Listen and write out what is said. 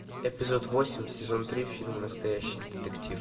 эпизод восемь сезон три фильм настоящий детектив